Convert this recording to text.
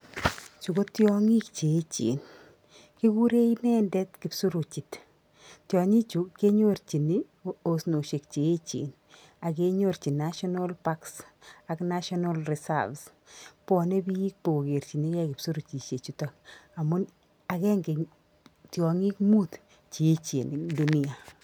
chuu ko tyongik che echen, kiguree inedet kipsuruchit , tyonichu kenyorchin osnoshech che echen age nyorchin national parks ak national reserves bwane biik bo kokerchinkei kipsurkushek chutak amu agenge eng tyongik muut cheechen eng dunia